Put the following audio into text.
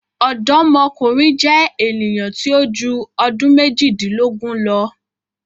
Ọdọmọkunrin jẹ eniyan ti o ju ọdun mejidilogun lọ